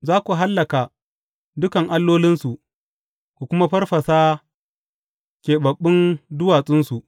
Za ku hallaka dukan allolinsu, ku kuma farfasa keɓaɓɓun duwatsunsu.